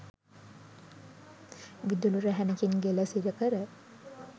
විදුලි රැහැනකින් ගෙල සිරකර